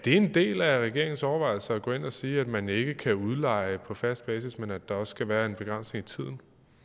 en del af regeringens overvejelser at gå ind at sige at man ikke kan udleje på fast basis men at der også skal være en begrænsning i tid